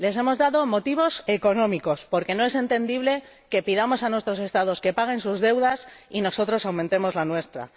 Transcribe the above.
Les hemos dado motivos económicos, porque no es entendible que pidamos a nuestros Estados que paguen sus deudas y nosotros aumentemos la nuestra.